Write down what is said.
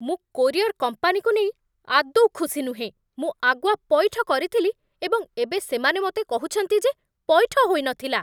ମୁଁ କୋରିଅର୍ କମ୍ପାନୀକୁ ନେଇ ଆଦୌ ଖୁସି ନୁହେଁ। ମୁଁ ଆଗୁଆ ପଇଠ କରିଥିଲି, ଏବଂ ଏବେ ସେମାନେ ମୋତେ କହୁଛନ୍ତି ଯେ ପଇଠ ହୋଇନଥିଲା!